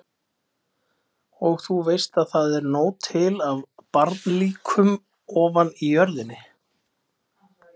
Og þú veist að það er nóg til af barnalíkum ofan í jörðinni.